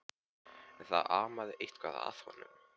En það amaði eitthvað að honum.